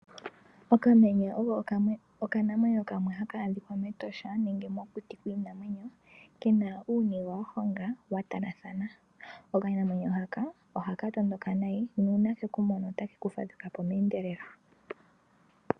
Okamenye oko okanamwenyo kamwe haka a dhikwa mEtosha nenge mokuti kwiinamwenyo. Kena uuniga wa honga wa talathana. Okanamwenyo haka ohaka tondoka nayi nuuna keku mono otake ku fadhuka po meendelelo.